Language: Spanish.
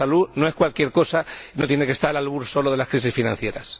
La salud no es cualquier cosa, no tiene que estar al albur solo de las crisis financieras.